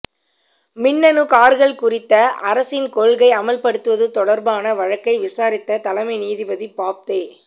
மின்னணு கார்கள் குறித்த அரசின் கொள்கை அமல்படுத்துவது தொடர்பான வழக்கை விசாரித்த தலைமை நீதிபதி பாப்தே